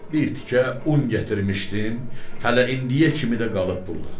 Bir tikə un gətirmişdim, hələ indiyə kimi də qalıb burda.